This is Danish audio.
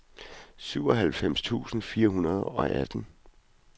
syvoghalvfems tusind fire hundrede og atten